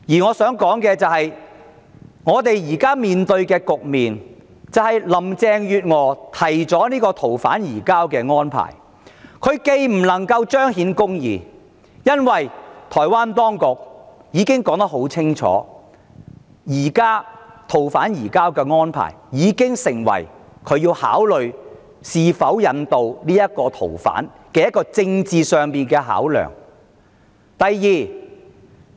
我想指出現時的局面是林鄭月娥提出的逃犯移交安排無法彰顯公義，因為台灣當局已清楚表明逃犯移交安排已成為它在考慮是否引渡逃犯時的一項政治考量。